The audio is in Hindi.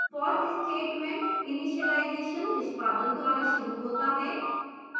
for statement initialization निष्पादन द्वारा शुरू होता है